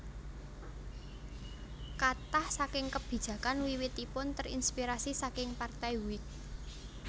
Katah saking kebijakan wiwitipun terinspirasi saking Partai Whig